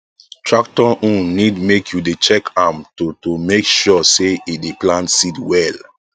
tractor own need make u dey check am to to make sure say e dey plant seed well